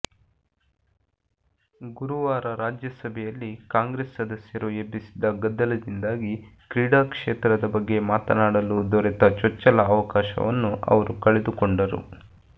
ಗುರುವಾರ ರಾಜ್ಯಸಭೆಯಲ್ಲಿ ಕಾಂಗ್ರೆಸ್ ಸದಸ್ಯರು ಎಬ್ಬಿಸಿದ ಗದ್ದಲದಿಂದಾಗಿ ಕ್ರೀಡಾ ಕ್ಷೇತ್ರದ ಬಗ್ಗೆ ಮಾತನಾಡಲು ದೊರೆತ ಚೊಚ್ಚಲ ಅವಕಾಶವನ್ನು ಅವರು ಕಳೆದುಕೊಂಡರು